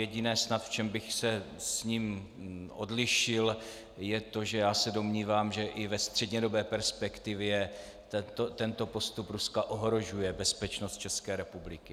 Jediné snad, v čem bych se od něho odlišil, je to, že já se domnívám, že i ve střednědobé perspektivě tento postup Ruska ohrožuje bezpečnost České republiky.